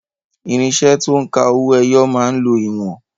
Irinṣẹ́ to ń ka owó ẹyọ máa ń lo ìwọ̀n.